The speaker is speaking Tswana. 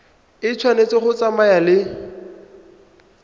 e tshwanetse go tsamaya le